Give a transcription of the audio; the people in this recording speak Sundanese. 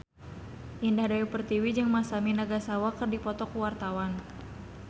Indah Dewi Pertiwi jeung Masami Nagasawa keur dipoto ku wartawan